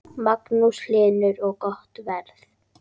Magnús Hlynur: Og gott verð?